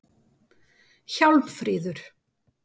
Hjálmfríður